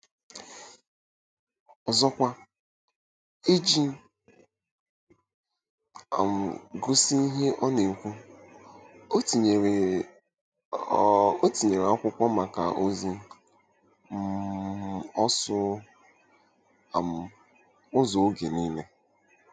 Ọzọkwa, iji um gosi ihe ọ na-ekwu, o tinyere, o tinyere akwụkwọ maka ozi um ọsụ um ụzọ oge nile.